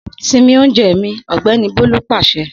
Sin mi ounje mi Ogbeni Bolu pase!